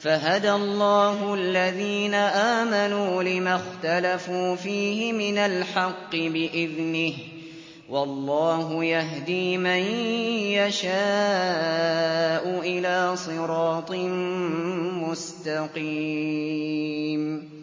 فَهَدَى اللَّهُ الَّذِينَ آمَنُوا لِمَا اخْتَلَفُوا فِيهِ مِنَ الْحَقِّ بِإِذْنِهِ ۗ وَاللَّهُ يَهْدِي مَن يَشَاءُ إِلَىٰ صِرَاطٍ مُّسْتَقِيمٍ